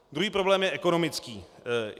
Druhý problém je ekonomický.